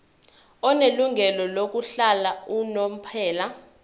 onelungelo lokuhlala unomphela